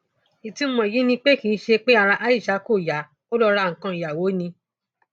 ìtumọ èyí ni pé kì í ṣe pé ara aishat kò yá ò lọọ ra nǹkan ìyàwó ni